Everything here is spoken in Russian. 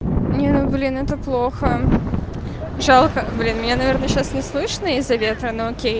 не ну блин это плохо жалко блин меня наверное сейчас не слышно из-за ветра но окей